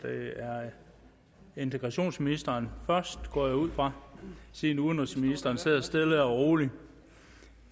er integrationsministeren først det går jeg ud fra siden udenrigsministeren sidder stille og roligt